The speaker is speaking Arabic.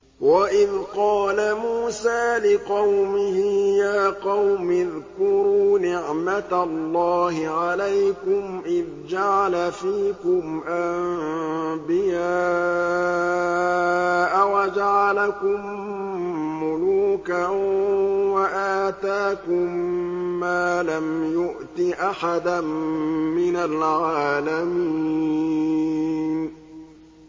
وَإِذْ قَالَ مُوسَىٰ لِقَوْمِهِ يَا قَوْمِ اذْكُرُوا نِعْمَةَ اللَّهِ عَلَيْكُمْ إِذْ جَعَلَ فِيكُمْ أَنبِيَاءَ وَجَعَلَكُم مُّلُوكًا وَآتَاكُم مَّا لَمْ يُؤْتِ أَحَدًا مِّنَ الْعَالَمِينَ